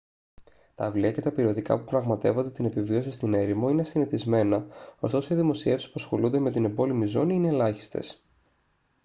τα βιβλία και τα περιοδικά που πραγματεύονται την επιβίωση στην έρημο είναι συνηθισμένα ωστόσο οι δημοσιεύσεις που ασχολούνται με την εμπόλεμη ζώνη είναι ελάχιστες